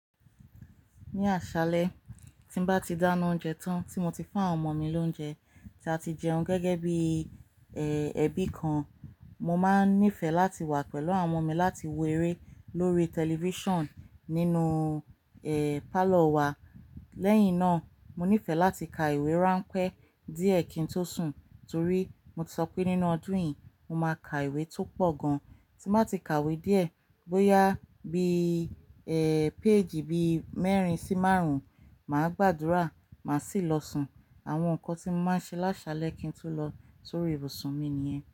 Ní àṣálẹ́ tí n bá ti dáána oúnjẹ tán tí mo ti fún àwọn ọmọ mi lóúnjẹ tí a ti jeun gẹ́gẹ́ bí i, ẹ́, ẹbí kan. Mo máa n nífẹ̀ẹ́ láti wà pẹ̀lú àwọn ọmọ mi láti wo eré lórí tẹlifíṣàn nínú, ẹ́, pálọ̀ wa. Lẹ́yìn náà, mo nífẹ̀ẹ́ láti ka ìwé ránpẹ́ díẹ̀ kí n tó sùn, torí mo ti sọ pé nínú ọdún yìí mo máa ka ìwé tó pọ̀ gan. Tí mo ba ti ka ìwé díẹ̀, bóyá bí i, ẹ́, péèjì bí i mẹ́rin sí márùn-ún, màá gbàdúrà, màá sì lọ sùn. Àwọn nǹkan tí mo máa n ṣe láṣalẹ kí n tó lọ sorí ibùsùn mi nìyen.